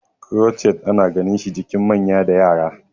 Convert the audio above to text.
crochet ana ganinshi jikin manya da Yara